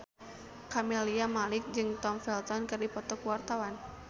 Camelia Malik jeung Tom Felton keur dipoto ku wartawan